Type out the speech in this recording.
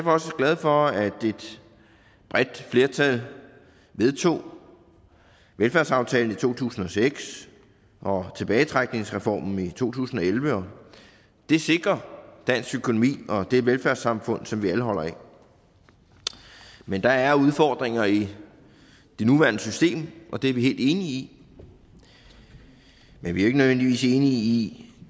også glad for at et bredt flertal vedtog velfærdsaftalen i to tusind og seks og tilbagetrækningsreformen i to tusind og elleve det sikrer dansk økonomi og det velfærdssamfund som vi alle holder af men der er udfordringer i det nuværende system og det er vi helt enige i men vi er ikke nødvendigvis enige i